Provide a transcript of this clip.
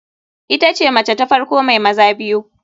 Itace mace ta farko mai maza biyu.